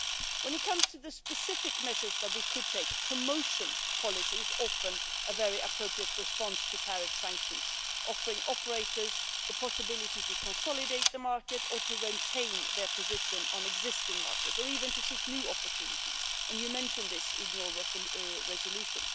When it comes to the specific measures that we could take, promotion policies are often a very appropriate response to tariff sanctions, offering operators the possibility to consolidate the market or to retain their position on existing markets, or even to seek new opportunities, and you mentioned this in your resolution.